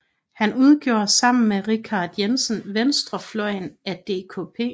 Han udgjorde sammen med Richard Jensen venstrefløjen af DKP